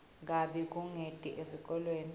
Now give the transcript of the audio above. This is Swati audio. kabi kungeti esikolweni